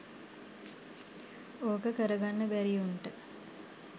ඕක කරගන්න බැරි උන්ට